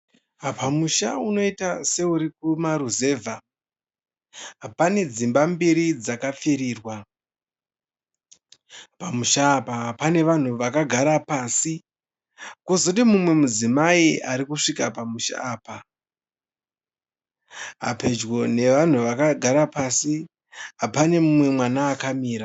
Pamusha unoita seuri kumaruzevha. Pane dzimba mbiri dzakapfirirwa. Pamusha apa pana vanhu vakagara pasi kwozoti umwe mudzimai ari kusvika pamusha apa. Pedyo nevanhu vakagara pasi pane umwe mwana akamira.